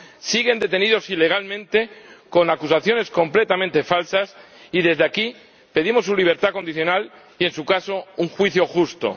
siguen detenidas ilegalmente con acusaciones completamente falsas ―y desde aquí pedimos su libertad condicional y, en su caso, un juicio justo―.